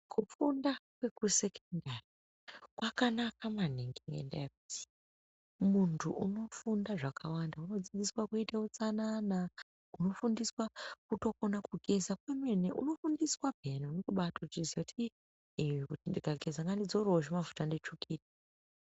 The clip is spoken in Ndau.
Kufunda kwekusekendari kwakanaka maningi ngendaa yekuti muntu unofunda zvakawanda. Unodzidzirwa kuite utsanana unofundiswe kutokona kugeza kwemene unofundiswa peya. Nokubatozviziya kuti ii ukageza ngandidzorevo zvimafuta nditsvukire.